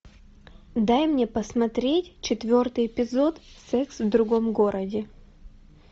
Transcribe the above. дай мне посмотреть четвертый эпизод секс в другом городе